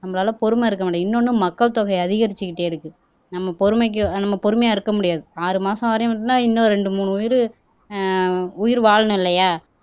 நம்மளால பொறுமை இருக்க முடியாது இன்னொன்னு மக்கள் தொகை அதிகரிச்சுக்கிட்டே இருக்கு நம்ம நம்ம பொறுமைக்கு நம்ம பொறுமையா இருக்க முடியாது ஆறு மாசம் வரையும் இருந்தா இன்னும் ரெண்டு மூணு உயிர் ஆஹ் உயிர் வாழணும் இல்லையா